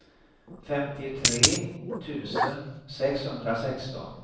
femtiotre tusen sexhundrasexton